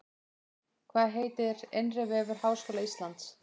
Hvað heitir innri vefur Háskóla Íslands?